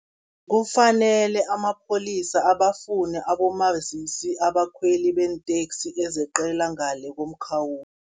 Kufanele amapholisa abafune abomazisi, abakhweli beenteksi ezeqela ngale komkhawulo.